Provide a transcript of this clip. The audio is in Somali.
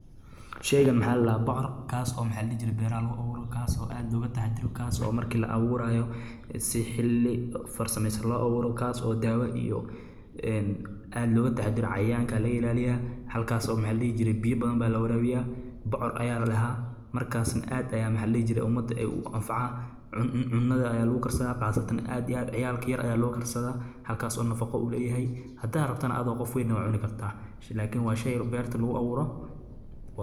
sheeygan maxaa la daha bocoor kaas oo maxaa la dhihi jiray beeraha lagu abuuro kaas oo aad loga tahadiro kaas oo markii laa abuurayo si xilli farsamaysaan loo abuuro kaas oo daawo iyo een aada looga tahadiro cayaanka laga ilaaliyaa halkaas oo maxa la dhihi jiray biyo badan baa la waraabiyaa bocoor ayaa la lahaa markaasna aada ayaan la jiray ummadda ay u anfaca ayaa lagu kartaa qaasatan aad iyo aada ciyaalka yar ayaa loo karsada halkaas oo nafaqo u leeyahay haddaad rabtana aada oo qof weyn waa cuni kartaa laakiin waa shayi yar beerta lagu abuuro.